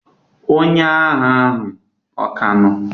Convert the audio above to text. onye agha ahu ka no?